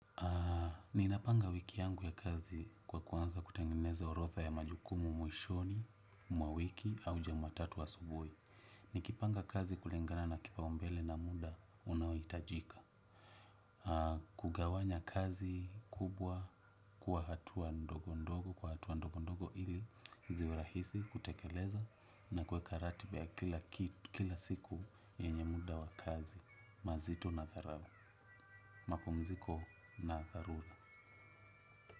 Ninapanga wiki yangu ya kazi kwa kuanza kutengineza orodha ya majukumu mwishoni, mwa wiki au jumatatu asubuhi. Nikipanga kazi kulingana na kipaumbele na muda unaohitajika. Kugawanya kazi kubwa kwa hatua ndogo ndogo, kwa hatua ndogo ndogo ili ziwe rahisi kutekeleza na kuweka ratiba ya kila siku yenye muda wa kazi. Mazito na dharau. Mapumziko na dharura.